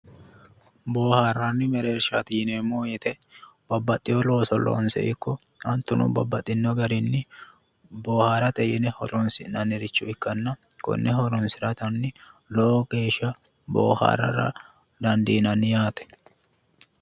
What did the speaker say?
Bohaarani mereershati yneemmoho woyte babbaxeo loosini ikko hattono garini bohaarate yinne horonsinanniricho ikkanna daa"atani bohaarano yaate